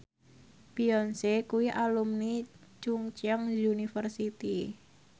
Beyonce kuwi alumni Chungceong University